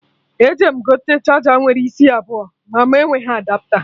Eje m gote charger nwere isi abụọ ma mụ enweghị Adapta